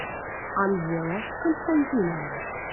анжела константиновна